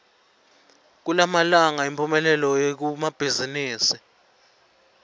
kulamalanga imphumelelo ikumabhazimisi